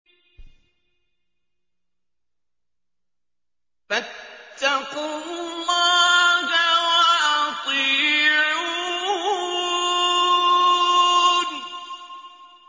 فَاتَّقُوا اللَّهَ وَأَطِيعُونِ